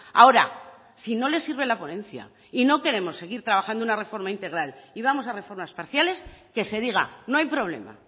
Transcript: ahora si no le sirve la ponencia y no queremos seguir trabajando una reforma integral y vamos a reformas parciales que se diga no hay problema